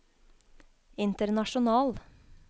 international